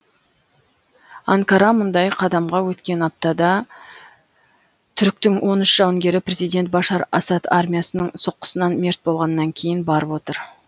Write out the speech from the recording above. анкара мұндай қадамға өткен аптада түріктің он үш жауынгері президент башар асад армиясының соққысынан мерт болғаннан кейін барып отыр